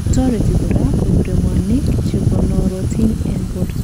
Toreti kora kobire mwanik chekonorotin en borto.